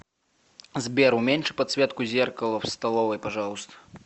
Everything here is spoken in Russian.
сбер уменьши подсветку зеркала в столовой пожалуйста